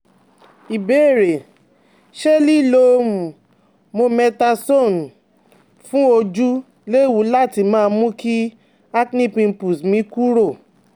Ìbéèrè: Ṣé liló um Mometasone um fun ojú léwu láti mú kí acne pimples mi kúrò?